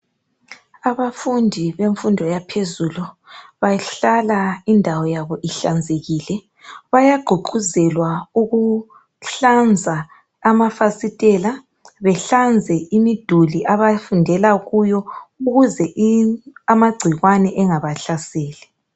Abafundi bemfundo yaphezulu bahlala indawo yabo ihlanzekile bayagqugquzelwa ukuhlanza amafasitela behlanze imiduli abafundela kuyo ukuze amagcikwane engabahlaseli.